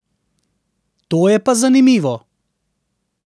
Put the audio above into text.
To je pa zanimivo.